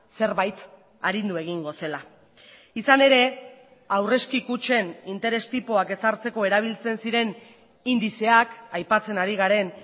zerbait arindu egingo zela izan ere aurrezki kutxen interes tipoak ezartzeko erabiltzen ziren indizeak aipatzen ari garen